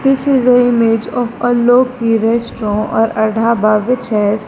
this is a image of aloki restaurant or a dhaba which has --